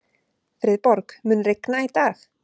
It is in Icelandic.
Friðborg, mun rigna í dag?